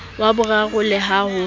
wa boraro le ha ho